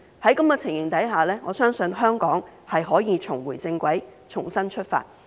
在這種情形下，我相信香港可以重回正軌，重新出發。